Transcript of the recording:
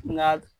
N'a